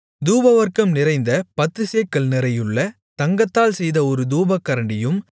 தூபவர்க்கம் நிறைந்த பத்துச்சேக்கல் நிறையுள்ள தங்கத்தால் செய்த ஒரு தூபகரண்டியும்